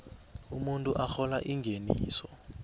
umuntu arhola ingeniso